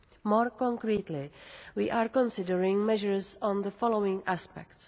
More concretely we are considering measures on the following aspects.